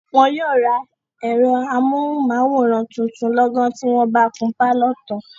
wọn yóò rà ẹ̀rọ amóhùnmáwòrán tuntun lọ́gán tí wọ́n bá kun pálọ̀ tán.